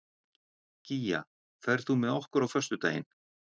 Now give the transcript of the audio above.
Gígja, ferð þú með okkur á föstudaginn?